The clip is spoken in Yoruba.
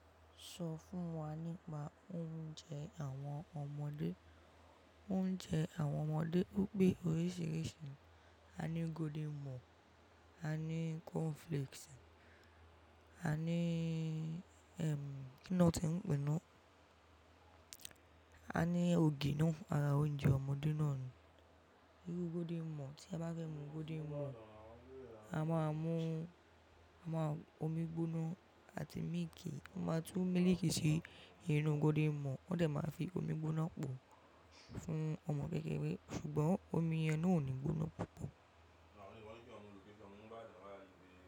Sọ fún wa nípa oúnjẹ àwọn ọmọdé. Oúnjẹ àwọn ọmọdé o pe oríṣiríṣi, a ní golden morn, a ní cornflakes, a ní, ẹm, kí ni wọ́n ti ẹ̀ ń pè náà? A ní ògì náà ara oúnjẹ ọmọdé náà ni. Irú golden morn, tí a bá fẹ́ mu golden morn, a máa mú omi gbóná àti mílìkì. Wọ́n máa tún mílìkì sí inú golden morn, wọ́n dẹ̀ máa fi omi gbóná pò fún ọmọ kékeré. Ṣùgbọ́n omi yẹn ò ní gbóná púpọ̀.